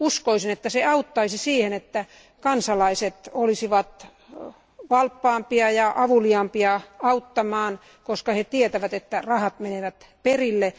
Uskoisin sen auttavan niin, että kansalaiset olisivat valppaampia ja avuliaampia auttamaan, koska he tietävät, että rahat menevät perille.